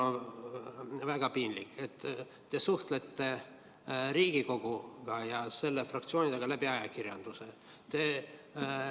On väga piinlik, et te suhtlete Riigikogu ja selle fraktsioonidega ajakirjanduse vahendusel.